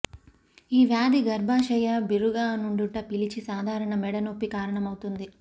ఈ వ్యాధి గర్భాశయ బిర్రుగానుండుట పిలిచి సాధారణ మెడ నొప్పి కారణమవుతుంది